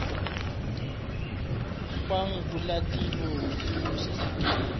nkwangulatilo wu sasekile